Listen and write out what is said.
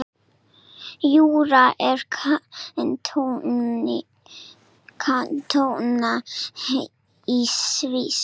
Júra er kantóna í Sviss.